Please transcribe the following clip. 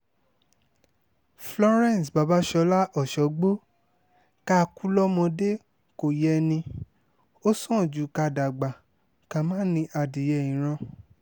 florence babasola ọ̀ṣọ́gbó ká kú lọ́mọdé kò yẹ ní ó sàn ju ká dàgbà ká má ní adìyẹ ìran